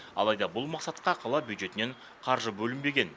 алайда бұл мақсатқа қала бюджетінен қаржы бөлінбеген